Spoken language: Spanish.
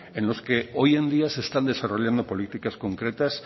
en los que hoy en día se están desarrollando políticas concretas